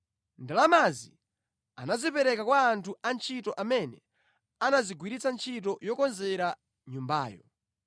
Ndalamazi anazipereka kwa anthu antchito amene anazigwiritsa ntchito yokonzera nyumbayo.